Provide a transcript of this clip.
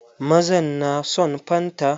Mazan na son fanta.